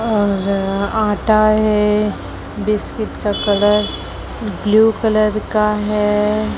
और आटा है बिस्किट का कलर ब्लू कलर का है।